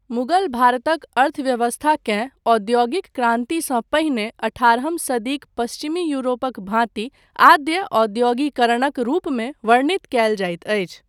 मुगल भारतक अर्थव्यवस्थाकेँ औद्योगिक क्रान्तिसँ पहिने अठारहम सदीक पश्चिमी यूरोपक भाँति आद्य औद्योगीकरणक रूपमे वर्णित कयल जाइत अछि।